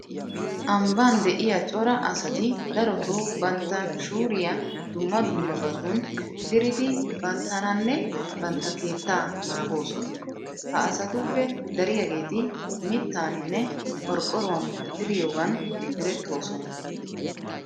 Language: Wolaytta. Ambban de'iya cora asati darotoo bantta shuuriya dumma dummabatun diridi banttananne bantta keettaa naagoosona. Ha asatuppe dariyageeti mittaaninne qorqqoruwan diriyogan erettoosona.